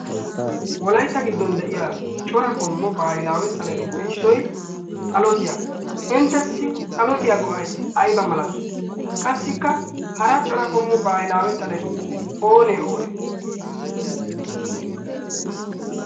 Wolaytta giddon de'iya cora qommo bahilaawe xaletuppe issoy xalottiya, inttessi xalottiya go'ay ayba malati? Qassikka hara cora qommo bahilaawe xaleti oonee oonee?